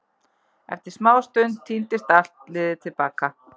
Eftir smástund tíndist allt liðið til baka.